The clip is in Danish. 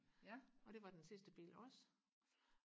og det var den sidste bil også og